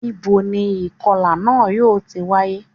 Níboni ìkọlà náà yóò ti wáyé